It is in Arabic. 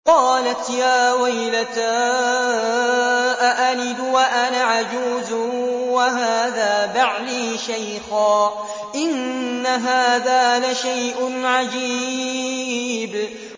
قَالَتْ يَا وَيْلَتَىٰ أَأَلِدُ وَأَنَا عَجُوزٌ وَهَٰذَا بَعْلِي شَيْخًا ۖ إِنَّ هَٰذَا لَشَيْءٌ عَجِيبٌ